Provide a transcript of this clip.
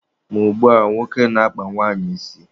Ma ugbua, nwoke na-akpa nwaanyị isi